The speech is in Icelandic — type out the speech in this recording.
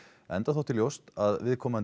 enda þótti ljóst að viðkomandi